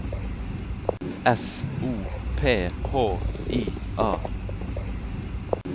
S O P H I A